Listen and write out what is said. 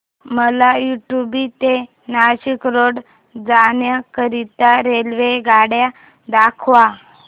मला उडुपी ते नाशिक रोड जाण्या करीता रेल्वेगाड्या दाखवा